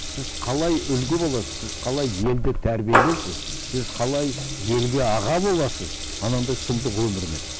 сіз қалай үлгі боласыз сіз қалай елді тәрбиелейсіз сіз қалай елге аға боласыз анандай сұмдық өмірмен